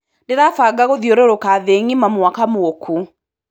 Ndĩrabanga gũthiũrũrũka thĩ ngima mwaka mũkũ.